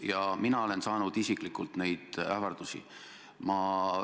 Ja mina olen isiklikult neid ähvardusi saanud.